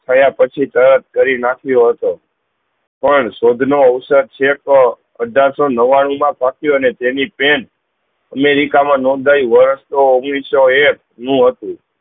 થયા પહચી તરત કરી નાખવી હોતો પણ સોધનો અવસત છેકો અઠાર સૌ નવ્વાણું માં ફ્ક્ય અને તેની ટ્રેન અમેરિકા મા નોંધાઈ વર્ષતો ઓઘ્નીસાહ સૌ એક નું હતું